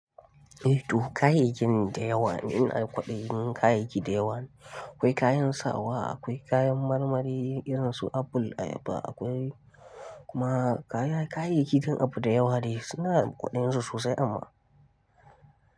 Eh to kayayyakin da yawa in a kwaɗayi kayayyaki da yawa ne. Akwai kayan sawa, akwai kayan marmari irin su apple, ayaba akwai kuma kayayyakin abu da yawa ne suna da kwaɗayinsu sosai amma.